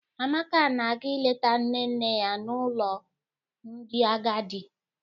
Amaka na-aga ileta nne nne ya nọ n'ụlọ ndị agadi.